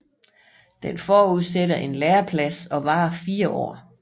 Den forudsætter en læreplads og varer fire år